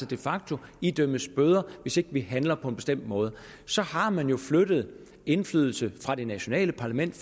de facto idømmes bøder hvis ikke vi handler på en bestemt måde så har man jo flyttet indflydelse fra det nationale parlament